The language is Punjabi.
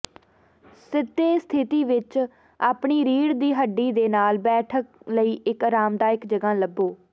ਸਿੱਧੇ ਸਥਿਤੀ ਵਿੱਚ ਆਪਣੀ ਰੀੜ੍ਹ ਦੀ ਹੱਡੀ ਦੇ ਨਾਲ ਬੈਠਣ ਲਈ ਇੱਕ ਅਰਾਮਦਾਇਕ ਜਗ੍ਹਾ ਲੱਭੋ